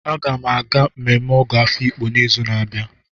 Aga m aga mmemme Ọgọ Afiikpo n'izu na-abịa.